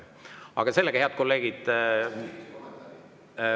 Aga sellega, head kolleegid …